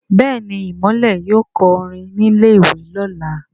Béèni Imole yóò kọ orin ní ilè ìwé lọla.